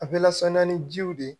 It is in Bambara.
A bɛ lasaniya ni jiw de ye